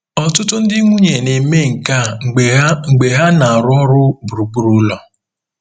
Ọtụtụ ndị nwunye na-eme nke a mgbe ha mgbe ha na-arụ ọrụ gburugburu ụlọ.